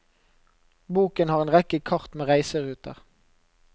Boken har en rekke kart med reiseruter.